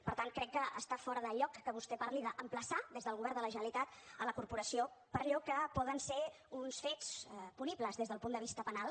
per tant crec que està fora de lloc que vostè parli d’emplaçar des del govern de la generalitat la corporació per allò que poden ser uns fets punibles des del punt de vista penal